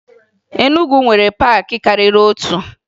Enugwu nwere paakị karịrị otu